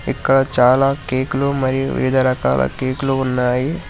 ఇక్కడ చాలా కేకులు మరియు వివిధ రకాల కేకులు ఉన్నాయి.